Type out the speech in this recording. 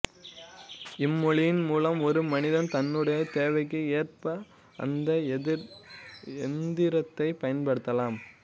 இம்மொழியின் மூலம் ஒரு மனிதன் தன்னுடைய தேவைக்கு ஏற்ப அந்த எந்திரத்தைப் பயன்படுத்தலாம்